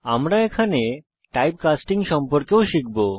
আমরা type casting সম্পর্কেও শিখব